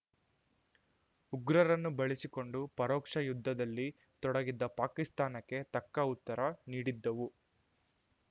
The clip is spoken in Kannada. ಉಗ್ರರನ್ನು ಬಳಸಿಕೊಂಡು ಪರೋಕ್ಷ ಯುದ್ಧದಲ್ಲಿ ತೊಡಗಿದ್ದ ಪಾಕಿಸ್ತಾನಕ್ಕೆ ತಕ್ಕ ಉತ್ತರ ನೀಡಿದ್ದವು